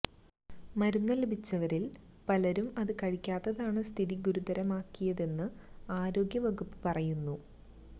മരുന്ന ലഭിച്ചവരില് പലരും അത് കഴിക്കാത്തതാണ് സ്ഥിതി ഗുരുതരമാക്കിയതെന്ന് ആരോഗ്യ വകുപ്പ് പറയുന്നു